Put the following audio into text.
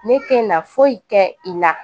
Ne te na foyi kɛ i la